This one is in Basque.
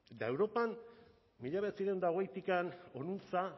eta europan mila bederatziehun eta hogeitik honuntza